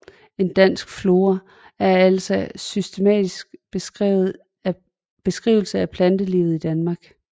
En dansk flora er altså en systematisk beskrivelse af plantelivet i Danmark